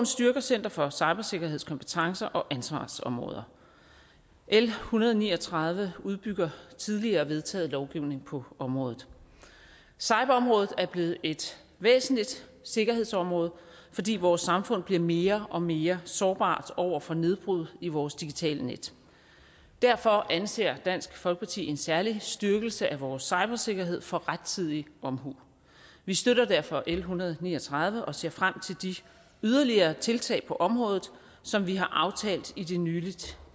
styrker center for cybersikkerheds kompetencer og ansvarsområder l en hundrede og ni og tredive udbygger tidligere vedtaget lovgivning på området cyberområdet er blevet et væsentligt sikkerhedsområde fordi vores samfund bliver mere og mere sårbart over for nedbrud i vores digitale net derfor anser dansk folkeparti en særlig styrkelse af vores cybersikkerhed for rettidig omhu vi støtter derfor l en hundrede og ni og tredive og ser frem til de yderligere tiltag på området som vi har aftalt i det nylig